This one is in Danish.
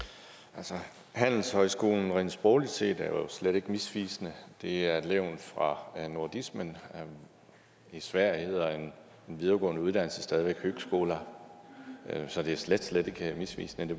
altså handelshøjskole er jo rent sprogligt set slet ikke misvisende det er et levn fra nordismen i sverige hedder en videregående uddannelse stadig væk högskola så det er slet slet ikke misvisende det